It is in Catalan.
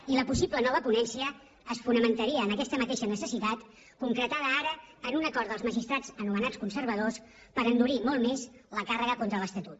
i la possible nova ponència es fonamentaria en aquesta mateixa necessitat concretada ara en un acord dels magistrats anomenats conservadors per endurir molt més la càrrega contra l’estatut